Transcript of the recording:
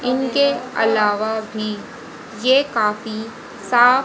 इनके अलावा भी ये काफी साफ--